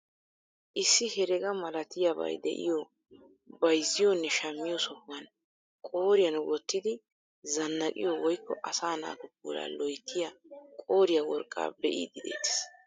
Issi herega malatiyaa bay de'iyoo bayzziyoo nne shammiyoo sohuwaan qooriyaan wottidi zanaqiyoo woykko asaa naatu puulaa loyttiyaa qooriyaa worqqaa be'iidi de'ettees.